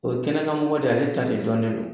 O ye kɛnɛkanmɔgɔ de ale ta de dɔnnen don.